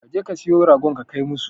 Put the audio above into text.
Ka je ka siyo ragon ka kai musu.